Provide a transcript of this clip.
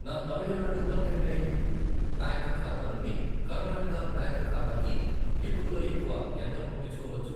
నా Tamil Nadu mercantile bank ఖాతా నుండి కర్ణాటక బ్యాంక్ ఖాతాకి ఎక్కువలో ఎక్కువ ఎంత పంపించుకోవచ్చు?